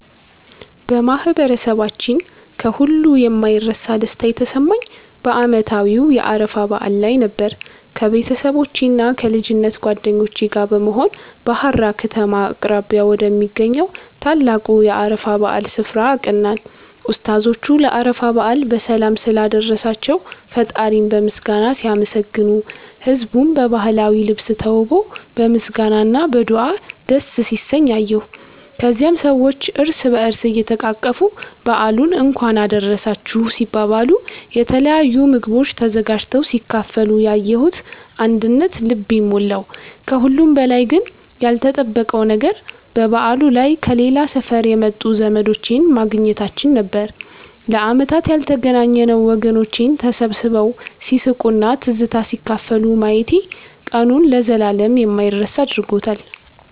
በማህበረሰባችን ከሁሉ የማይረሳ ደስታ የተሰማኝ በዓመታዊው የአረፋ በዓል ላይ ነበር። ከቤተሰቦቼና ከልጅነት ጓደኞቼ ጋር በመሆን በሃራ ከተማ አቅራቢያ ወደሚገኘው ታላቁ የአረፋ በዓል ስፍራ አቀናን። ኡስታዞቹ ለአረፋ በዓል በሰላም ስላደረሳቸው ፈጣሪን በምስጋና ሲያመሰግኑ፣ ህዝቡም በባህላዊ ልብስ ተውቦ በምስጋና እና በዱዓ ደስ ሲሰኝ አየሁ። ከዚያም ሰዎች እርስ በእርስ እየተቃቀፉ በዓሉን እንኳን አደረሳችሁ ሲባባሉ፣ የተለያዩ ምግቦች ተዘጋጅተው ሲካፈሉ ያየሁት አንድነት ልቤን ሞላው። ከሁሉም በላይ ግን ያልተጠበቀው ነገር በበዓሉ ላይ ከሌላ ሰፈር የመጡ ዘመዶቼን ማግኘታችን ነበር፤ ለዓመታት ያልተገናኘነው ወገኖቼን ተሰባስበው ሲስቁና ትዝታ ሲካፈሉ ማየቴ ቀኑን ለዘላለም የማይረሳ አድርጎታል።